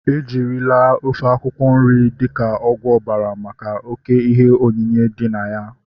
Eriela ofe akwụkwọ nri dịka ọgwụ ọbara maka oké ihe onyinye dị na ya